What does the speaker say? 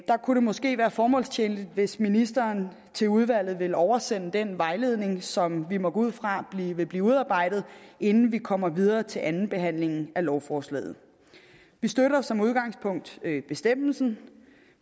kunne det måske være formålstjenligt hvis ministeren til udvalget vil oversende den vejledning som vi må gå ud fra vil blive udarbejdet inden vi kommer videre til andenbehandlingen af lovforslaget vi støtter som udgangspunkt bestemmelsen